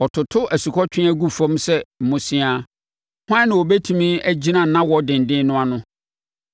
Ɔtoto asukɔtweaa gu fam sɛ mmosea. Hwan na ɔbɛtumi agyina nʼawɔ denden no ano?